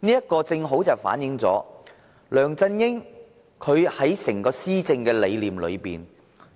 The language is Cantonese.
這正正反映梁振英的整個施政理念，